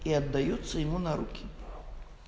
и отдаются ему на руки